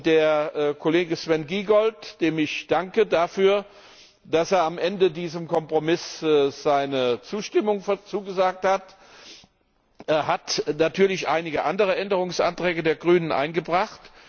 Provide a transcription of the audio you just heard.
Der Kollege Sven Giegold, dem ich dafür danke, dass er am Ende diesem Kompromiss seine Zustimmung zugesagt hat, hat natürlich einige andere Änderungsanträge der Grünen eingebracht.